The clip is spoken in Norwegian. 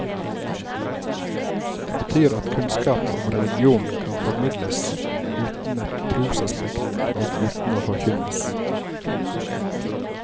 Det betyr at kunnskap om religion kan formidles uten et trosaspekt og uten å forkynnes.